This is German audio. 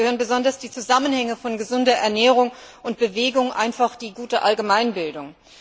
Dazu gehören besonders die Zusammenhänge von gesunder Ernährung und Bewegung, einfach die gute Allgemeinbildung.